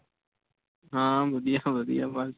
ਹਾਂ ਵਧੀਆ ਵਧੀਆ ਬਸ